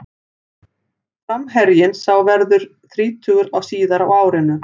Framherjinn sá verður þrítugur síðar á árinu.